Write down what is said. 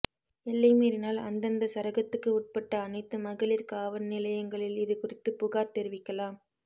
எல்லை மீறினால் அந்தந்த சரகத்துக்கு உட்பட்ட அனைத்து மகளிர் காவல்நிலையங்களில் இது குறித்துப் புகார் தெரிவிக்கலாம்